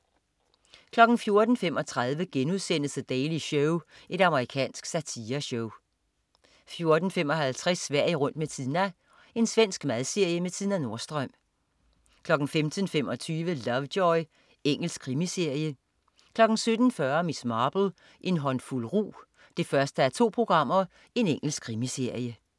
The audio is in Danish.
14.35 The Daily Show.* Amerikansk satireshow 14.55 Sverige rundt med Tina. Svensk madserie med Tina Nordström 15.25 Lovejoy. Engelsk krimiserie 17.40 Miss Marple: En håndfuld rug 1:2. Engelsk krimiserie